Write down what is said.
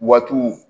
Watu